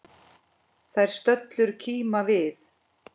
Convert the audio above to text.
Þær stöllur kíma við.